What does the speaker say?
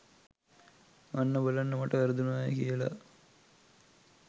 අන්න බලන්න මට වැරදුනාය කියලා